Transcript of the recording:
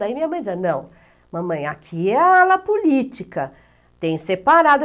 Daí minha mãe dizia, não, mamãe, aqui é a ala política, tem separado.